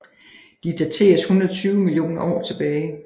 De dateres 120 millioner år tilbage